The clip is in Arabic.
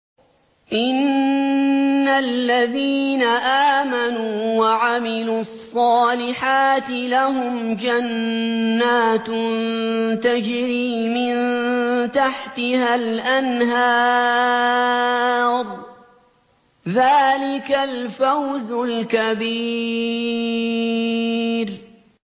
إِنَّ الَّذِينَ آمَنُوا وَعَمِلُوا الصَّالِحَاتِ لَهُمْ جَنَّاتٌ تَجْرِي مِن تَحْتِهَا الْأَنْهَارُ ۚ ذَٰلِكَ الْفَوْزُ الْكَبِيرُ